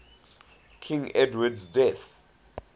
king edward's death